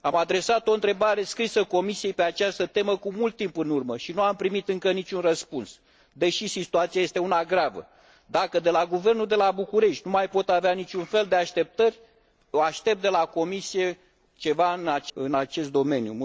Am adresat o întrebare scrisă Comisiei pe această temă cu mult timp în urmă și nu am primit încă niciun răspuns, deși situația este una gravă. Dacă de la guvernul de la București nu mai pot avea niciun fel de așteptări, aștept de la Comise ceva în acest domeniu.